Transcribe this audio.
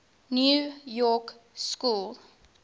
new york school